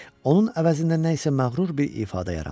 Onun əvəzində nə isə məğrur bir ifadə yarandı.